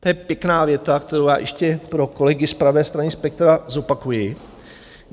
To je pěkná věta, kterou já ještě pro kolegy z pravé strany spektra zopakuji.